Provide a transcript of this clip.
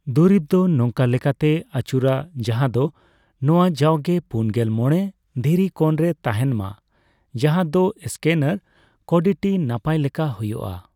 ᱫᱩᱨᱤᱵᱽ ᱫᱚ ᱱᱚᱝᱠᱟ ᱞᱮᱠᱟᱛᱮ ᱟᱹᱪᱩᱨᱟ ᱡᱟᱦᱟᱸ ᱫᱚ ᱱᱚᱣᱟ ᱡᱟᱣᱜᱮ ᱯᱩᱱᱜᱮᱞ ᱢᱚᱲᱮ ᱰᱫᱤᱨᱤ ᱠᱳᱱ ᱨᱮ ᱛᱟᱦᱮᱱ ᱢᱟ, ᱡᱟᱦᱟᱫᱚ ᱥᱠᱮᱱᱟᱨ ᱠᱳᱰᱴᱤᱱᱟᱯᱟᱭ ᱞᱮᱠᱟ ᱦᱚᱭᱩᱜ ᱟ ᱾